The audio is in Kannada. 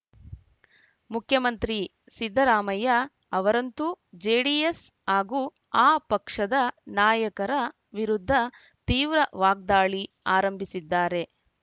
ಮುಖ್ಯಮಂತ್ರಿ ಸಿದ್ದರಾಮಯ್ಯ ಅವರಂತೂ ಜೆಡಿಎಸ್‌ ಹಾಗೂ ಆ ಪಕ್ಷದ ನಾಯಕರ ವಿರುದ್ಧ ತೀವ್ರ ವಾಗ್ದಾಳಿ ಆರಂಭಿಸಿದ್ದಾರೆ